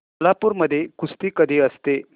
कोल्हापूर मध्ये कुस्ती कधी असते